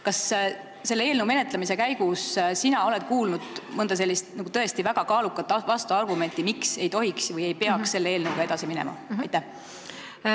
Kas eelnõu menetlemise käigus oled sina kuulnud mõnda tõesti väga kaalukat vastuargumenti, miks ei tohiks selle eelnõuga edasi minna või ei peaks seda tegema?